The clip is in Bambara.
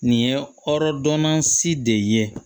Nin ye hɔrɔndɔnna si de ye